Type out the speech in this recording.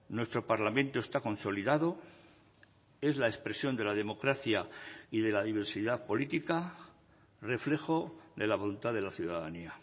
nuestro parlamento está consolidado es la expresión de la democracia y de la diversidad política reflejo de la voluntad de la ciudadanía